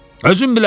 Özün bilərsən.